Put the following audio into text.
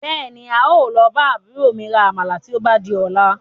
Bẹ́ẹ̀ni, ń ó lọ bá àbúrò mi rà Àmàlà tí ó bá di ọ̀la